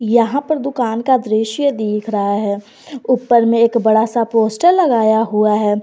यहां पर दुकान का दृश्य दिख रहा है ऊपर में एक बड़ा सा पोस्टर लगाया हुआ है।